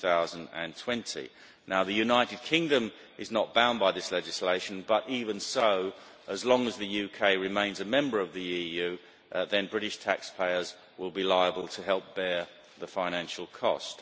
2020. The United Kingdom is not bound by this legislation, but even so, as long as the UK remains a member of the EU, British taxpayers will be liable to help bear the financial cost.